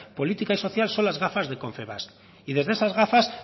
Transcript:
política y social son las gafas de confebask y desde esas gafas